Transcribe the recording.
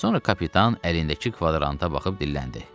Sonra kapitan əlindəki kvadranta baxıb dilləndi.